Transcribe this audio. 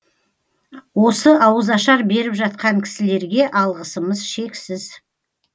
осы ауызашар беріп жатқан кісілерге алғысымыз шексіз